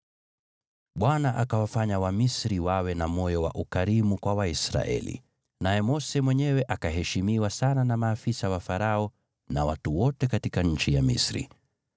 ( Bwana akawafanya Wamisri wawe na moyo wa ukarimu kwa Waisraeli, naye Mose mwenyewe akaheshimiwa sana na maafisa wa Farao na watu wote katika nchi ya Misri.)